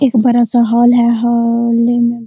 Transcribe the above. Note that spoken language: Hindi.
एक बड़ा सा हॉल है हॉल में --